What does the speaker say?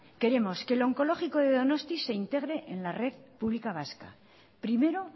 queremos que lo oncológico de donosti se integre en la red pública vasca primero